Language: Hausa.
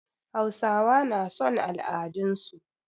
Hausawa na son al'adun su